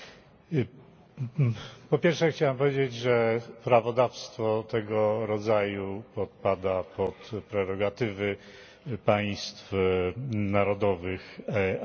Po pierwsze chciałem powiedzieć, że prawodawstwo tego rodzaju podpada pod prerogatywy państw narodowych, a nie instytucji europejskich.